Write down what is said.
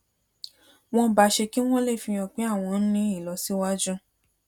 wón bá ṣe kí wón lè fi hàn pé àwọn ń ní ìlọsíwájú